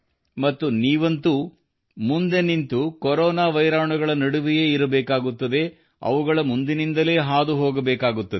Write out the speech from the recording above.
ಮತ್ತು ನೀವಂತೂ ಮುಂದೆ ನಿಂತು ಕೊರೋನಾದ ಮಾರಕಗಳ ನಡುವೆಯೇ ಇರಬೇಕಾಗುತ್ತದೆ ಅವುಗಳ ಮುಂದಿನಿಂದಲೇ ಹಾದು ಹೋಗಬೇಕಾಗುತ್ತದೆ